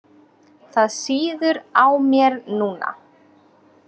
Það sýður á mér núna.